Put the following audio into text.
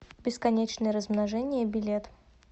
бесконечное размножение билет